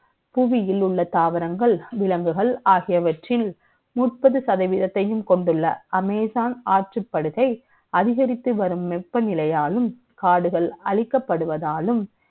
புவியில் உள்ள தாவரங்கள், விலங்குகள் ஆகியவற்றில், முப்பது சதவதீ த்தை யும் க ொண்டுள்ள, Amazon ஆற்றுப்படுகை, அதிகரித்துவரும் வெ ப்பநிலை யாலும், காடுகள் அழிக்கப்படுவதாலும்